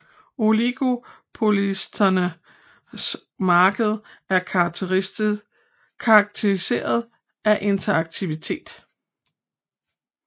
Oligopolistiske markeder er karakteriseret af interaktivitet